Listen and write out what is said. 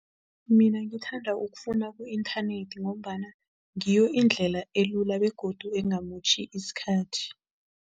Mina ngithanda ukufuna ku-inthanethi ngombana ngiyo indlela elula begodu engamotjhi isikhathi.